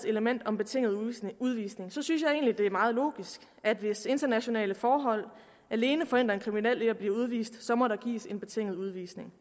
element om betinget udvisning udvisning synes jeg egentlig at det er meget logisk at hvis internationale forhold alene forhindrer en kriminel i at blive udvist må der gives en betinget udvisning